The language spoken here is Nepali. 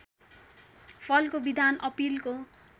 फलको विधान अपिलको